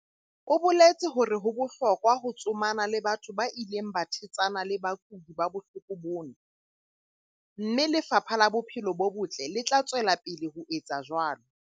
O boletse hore ho bohlokwa ho tsomana le batho ba ileng ba thetsana le bakudi ba bohloko bona, mme Lefapha la Bophelo bo Botle le tla tswela pele le ho etsa jwalo.